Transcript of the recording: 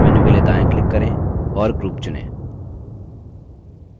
context menu के लिए दायाँ click करें और group चुनें